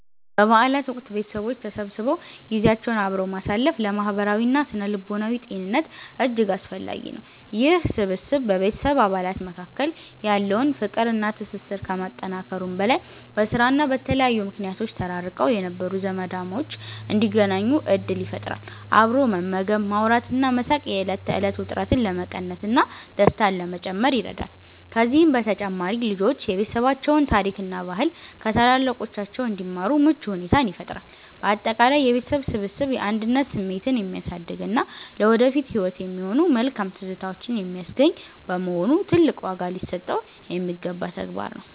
በበዓላት ወቅት ቤተሰቦች ተሰብስበው ጊዜያቸውን አብረው ማሳለፍ ለማህበራዊና ስነ-ልቦናዊ ጤንነት እጅግ አስፈላጊ ነው። ይህ ስብስብ በቤተሰብ አባላት መካከል ያለውን ፍቅርና ትስስር ከማጠናከሩም በላይ፣ በስራና በተለያዩ ምክንያቶች ተራርቀው የነበሩ ዘመዳሞች እንዲገናኙ ዕድል ይፈጥራል። አብሮ መመገብ፣ ማውራትና መሳቅ የዕለት ተዕለት ውጥረትን ለመቀነስና ደስታን ለመጨመር ይረዳል። ከዚህም በተጨማሪ ልጆች የቤተሰባቸውን ታሪክና ባህል ከታላላቆቻቸው እንዲማሩ ምቹ ሁኔታን ይፈጥራል። ባጠቃላይ የቤተሰብ ስብስብ የአንድነት ስሜትን የሚያሳድግና ለወደፊት ህይወት የሚሆኑ መልካም ትዝታዎችን የሚያስገኝ በመሆኑ፣ ትልቅ ዋጋ ሊሰጠው የሚገባ ተግባር ነው።